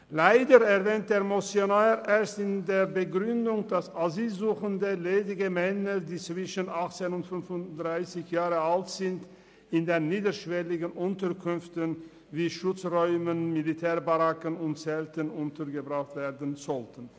Leider erwähnt der Motionär erst in der Begründung, dass asylsuchende ledige Männer zwischen 18 und 35 Jahren in niederschwelligen Unterkünften wie Schutzräumen untergebracht werden sollen.